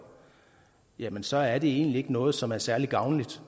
jamen så er det egentlig ikke noget som er særlig gavnligt